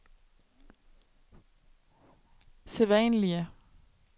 sædvanlige